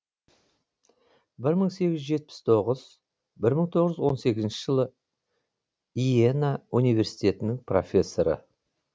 бір мың сегіз жүз жетпіс тоғыз бір мың тоғыз жүз он сегізінші жылы йена университетінің профессоры